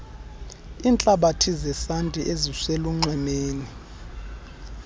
iintlabathi zesanti eziselunxwemeni